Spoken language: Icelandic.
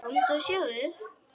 Komdu og sjáðu!